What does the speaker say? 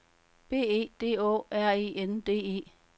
B E D Å R E N D E